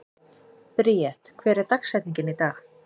Bríet, hver er dagsetningin í dag?